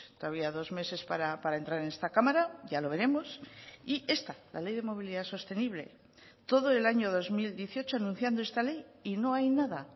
todavía dos meses para entrar en esta cámara ya lo veremos y esta la ley de movilidad sostenible todo el año dos mil dieciocho anunciando esta ley y no hay nada